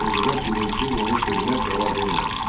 Qıcıqas gülümsüyüb onun sözünə cavab vermədi.